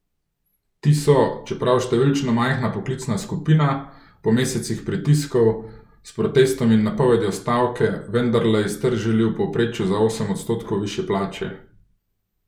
Ti so, čeprav številčno majhna poklicna skupina, po mesecih pritiskov, s protestom in napovedjo stavke, vendarle iztržili v povprečju za osem odstotkov višje plače.